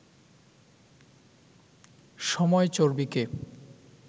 সময় চর্বিকে